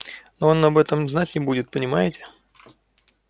но он об этом знать не будет понимаете